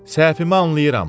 Səhvimi anlayıram.